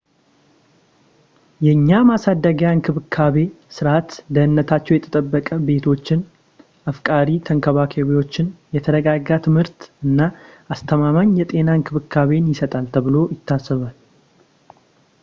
የእኛ የማሳደጊያ እንክብካቤ ስርዓት ደህንነታቸው የተጠበቀ ቤቶችን ፣ አፍቃሪ ተንከባካቢዎችን ፣ የተረጋጋ ትምህርት እና አስተማማኝ የጤና እንክብካቤን ይሰጣል ተብሎ ይታሰባል